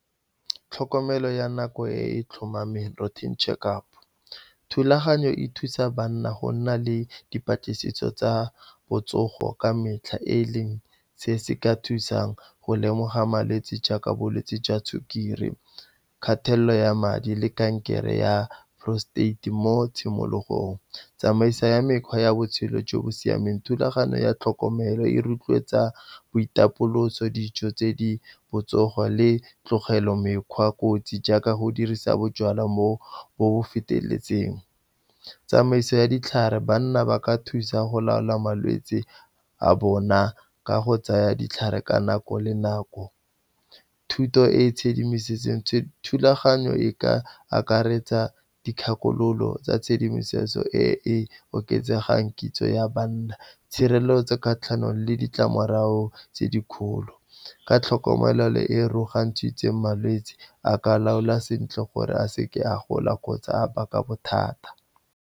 Tlhokomelo ya nako e e tlhomameng, routine check-up, thulaganyo e thusa banna go nna le dipatlisiso tsa botsogo ka metlha, e e leng se se ka thusang go lemoga malwetse jaaka bolwetse jwa sukiri, kgatelelo ya madi le kankere ya prostate mo tshimologong. Tsamaiso ya mekgwa ya botshelo jo bo siameng, thulaganyo ya tlhokomelo e rotloetsa boitapoloso, dijo tse di botsogo le tlogelo mekgwa kotsi jaaka go dirisa bojalwa mo bo feteletseng. Mo bo tsamaiso ya ditlhare, banna ba ka thusa go laola malwetse a bona ka go tsaya ditlhare ka nako le nako. Thuto e e tshedimosetsong, thulaganyo e ka akaretsa dikgakololo tsa tshedimosetso e e oketsegang kitso ya banna. Tshireletso kgatlhanong le ditlamorago tse dikgolo ka tlhokomelo le e , malwetse a ka laolwa sentle gore a seke a gola kgotsa a baka bothata.